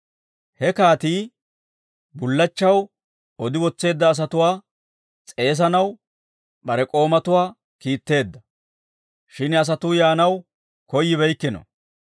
He kaatii bullachchaw odi wotseedda asatuwaa s'eesanaw bare k'oomatuwaa kiitteedda; shin asatuu yaanaw koyyibeykkino.